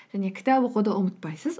және кітап оқуды ұмытпайсыз